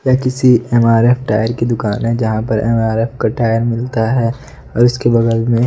यह किसी एम_आर_एफ टायर की दुकान है जहां पर एम_आर_एफ का टायर मिलता है और इसके बगल में--